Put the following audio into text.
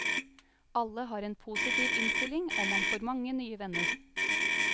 Alle har en positiv innstilling, og man får mange nye venner.